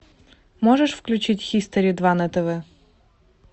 можешь включить хистори два на тв